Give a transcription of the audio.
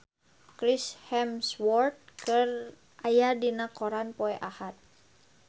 Chris Hemsworth aya dina koran poe Ahad